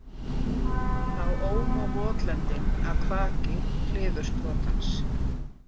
Þá óma votlendin af kvaki klifursprotans.